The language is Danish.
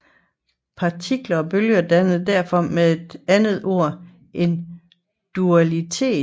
Partikler og bølger danner derfor med et andet ord en dualitet